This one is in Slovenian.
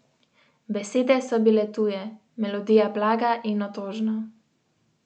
Besede so bile tuje, melodija blaga in otožna.